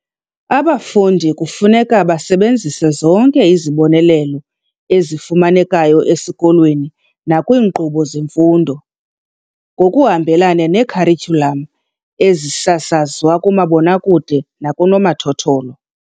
Abafundi kufuneka base benzise zonke izibonelelo ezifumanekayo esikolweni nakwiinkqubo zemfundo, ngokuhambelana ne-kharityhulam, ezisasazwa kumabonakude nakunomathotholo.